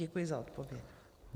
Děkuji za odpověď.